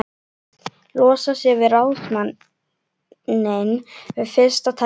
Losa sig við ráðsmanninn við fyrsta tækifæri.